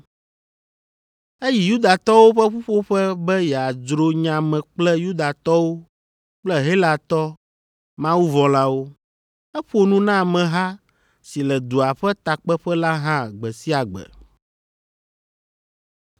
Eyi Yudatɔwo ƒe ƒuƒoƒe be yeadzro nya me kple Yudatɔwo kple Helatɔ mawuvɔ̃lawo. Eƒo nu na ameha si le dua ƒe takpeƒe la hã gbe sia gbe.